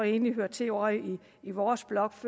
egentlig hørte til ovre i vores blok